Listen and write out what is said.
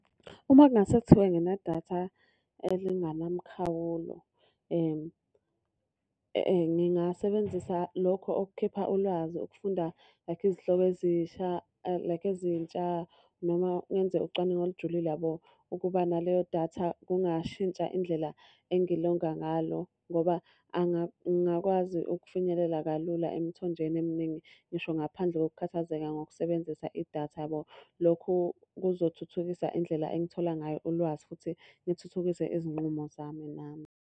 Uma kungase kuthiwe nginedatha elinganamkhawulo, ngingasebenzisa lokho okukhipha ulwazi okufunda like izihloko ezisha like ezintsha, noma ngenze ucwaningo olujulile, yabo. Ukuba naleyo datha kungashintsha indlela engilonga ngalo ngoba ngingakwazi ukufinyelela kalula emthonjeni eminingi, ngisho ngaphandle kokukhathazeka ngokusebenzisa idatha, yabo. Lokhu kuzothuthukisa indlela engithola ngayo ulwazi, futhi ngithuthukise izinqumo zami nami.